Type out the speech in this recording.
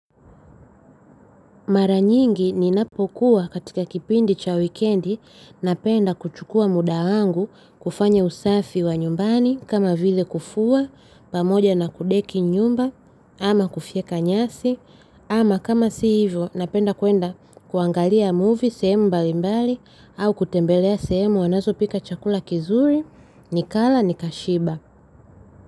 Mara nyingi ninapokuwa katika kipindi cha wikendi napenda kuchukua muda wangu kufanya usafi wa nyumbani kama vile kufua, pamoja na kudeki nyumba ama kufyeka nyasi ama kama si hivyo napenda kuenda kuangalia movie sehemu mbalimbali au kutembelea sehemu wanazopika chakula kizuri nikala nikashiba.